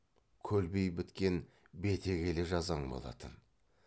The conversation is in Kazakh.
көлбей біткен бетегелі жазаң болатын